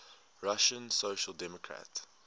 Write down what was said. russian social democratic